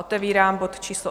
Otevírám bod číslo